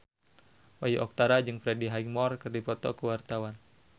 Bayu Octara jeung Freddie Highmore keur dipoto ku wartawan